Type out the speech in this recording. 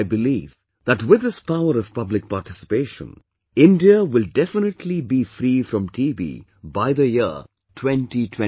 I believe that with this power of public participation, India will definitely be free from TB by the year 2025